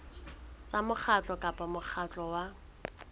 tsa mokgatlo kapa mokgatlo wa